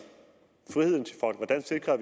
sikrer